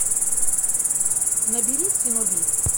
набери синоби